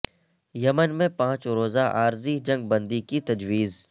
یمن میں پانچ روزہ عارضی جنگ بندی کی تجویز